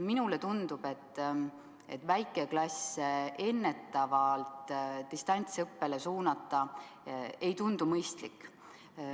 Minule tundub, et väikeklassi ennetavalt distantsõppele suunata ei tundu mõistlik.